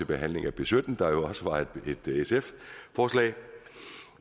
behandlingen af b sytten der jo også var et sf forslag